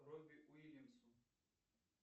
робби уильямсу